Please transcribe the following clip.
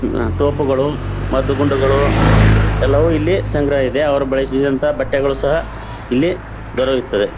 ತೋಪುಗಳು ಮದ್ದು ಗುಂಡುಗಳು ಎಲ್ಲವು ಇಲ್ಲಿ ಸಂಗ್ರಹ ಇದೆ. ಅವರು ಬಳಸಿದಂತಹ ಬಟ್ಟೆಗಳು ಸಹ ಇಲ್ಲಿ ದೊರೆಯುತ್ತವೆ.